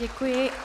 Děkuji.